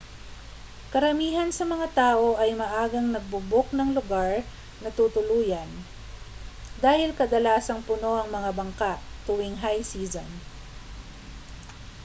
karamihan sa mga tao ay maagang nagbo-book ng lugar na tutuluyan dahil kadalasang puno ang mga bangka tuwing high season